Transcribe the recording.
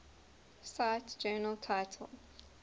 cite journal title